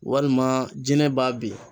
Walima jinɛ b'a bin